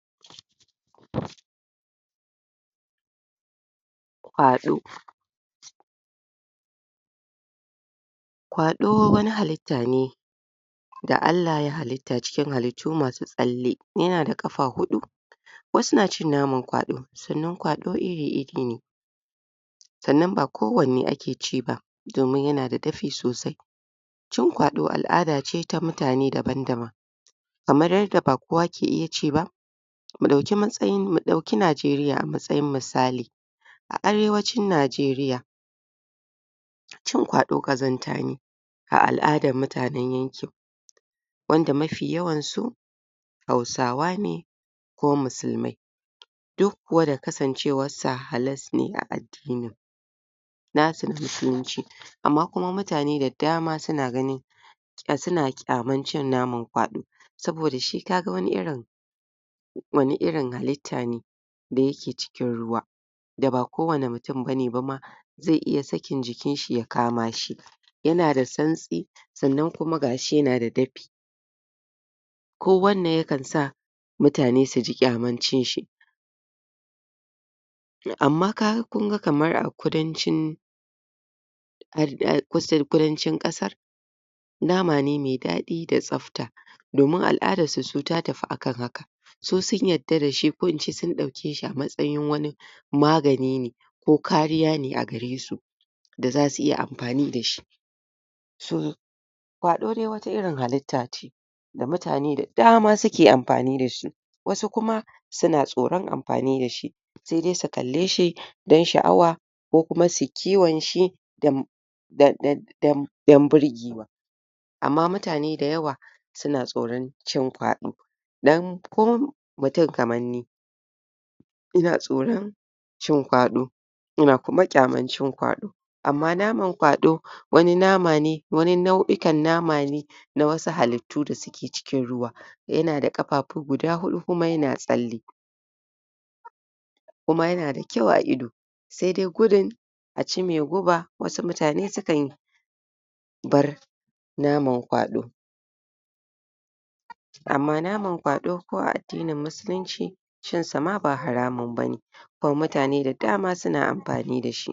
? Kwaɗo wani halitta ne da Allah ya halitta cikin halittu masu tsalle yana da ƙafa huɗu waasu na cin naman kwaɗo sannan kwaɗo iri-iri ne sannan ba kowane ake ci ba domin yana da dafi sosai cin kwaɗo al'ada ce ta mutane daban-daban amma duk da ba kowa kee iya ci ba mu ɗauki matsayin mu ɗauki Najeriya a matsayin misali a Arewacin Najeriya cin kwaɗo ƙazanta ne a al'adan mutanen yankin wanda mafi yawan su Hausawa ne ko musulmai duk kuwa da kasancewarsa halas ne a addinin na san da? amma kuma mutane da dama su na gani um suna ƙyamar cin nama kwaɗo saboda shi ka ga wani irin wani irin halitta ne da yake cikin ruwa da ba kowane mutum ba ne ba ma ze iya sakin jikinshi ya kama shi yana da santsi sannan kuma ga shi yana da dafi kowannan ya kan sa mutane su ji ƙyaman cin shi amma ka ga kun ga kamar a Kudancin um kudancin ƙasar nama ne me daɗi da tsafta domin al'adarsu su ta tafi akan haka su sun yadda sa shi ko in ce sun ɗauke shi a matsayin wani magani ne ko kariya a gare su da za su iya amfani da shi um kwaɗo de wata irin halitta ce da mutane da dama suke amfani da shi wasu kuma su na tsoron amfani da shi se de su kalle shi dan sha'awa ko kuma su yi kiwon shi dan um dan birgewa amma mutane dayawa su na tsoron cin kwaɗo dan ko mutum kaman ni ina tsoron cin kwaɗo ina kuma ƙyaman cin kwaɗo amma naman kwaɗo wani nama ne wani nau'ikan nama ne na wasu halittu da suke cikin ruwa yana da ƙafafu guda huɗu kuma yana tsalle kuma yana da kyau a ido se de gudun a ci me guba wasu mutane su kan bar naman kwaɗo amma naman kwaɗo ko a addinin Musulunci cin sa ma ba haramun ba ne kuma mutane da dama suna amfani da shi